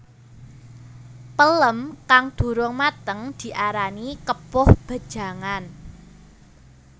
Pelem kang durung mateng diarani kepoh bajangan